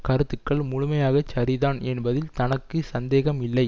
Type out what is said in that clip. கருத்துக்கள் முழுமையாச் சரிதான் என்பதில் தனக்கு சந்தேகம் இல்லை